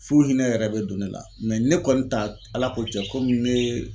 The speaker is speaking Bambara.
F'u hinɛ yɛrɛ be don ne la ne kɔni ta Ala ko tiɲɛ komi ne